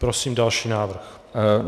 Prosím další návrh.